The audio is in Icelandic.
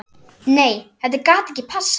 Nei þetta gat ekki passað.